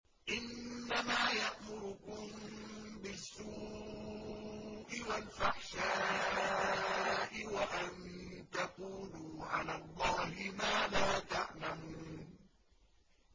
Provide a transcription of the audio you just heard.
إِنَّمَا يَأْمُرُكُم بِالسُّوءِ وَالْفَحْشَاءِ وَأَن تَقُولُوا عَلَى اللَّهِ مَا لَا تَعْلَمُونَ